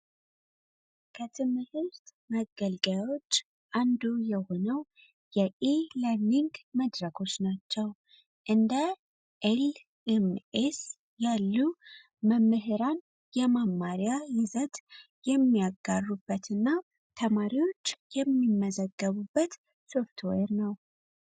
መገልገዮች አንዱ የሆነው መድረኮች ናቸው መምህራን የማማሪያ ይዘት የሚያጋሩበትና ተማሪዎች የሚመዘገቡበት ሶፍትዌር ነው።